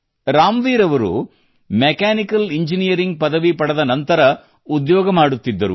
ರಾಮ್ವೀರ್ ಅವರು mechanical engineering ಪದವಿ ಪಡೆದ ನಂತರ ಉದ್ಯೋಗ ಮಾಡುತ್ತಿದ್ದರು